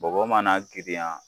Bagɔ mana girinya